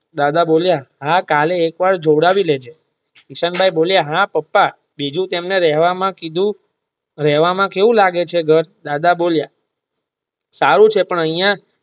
દાદા બોલિયાં હા કાલે એક વાર જોવડાવી દેજે હા પપા બીજું રહેવા માં કીધું રહેવા માં કેવું લાગે છે દાદા બોલિયાં સારું છે પણ અહીંયા.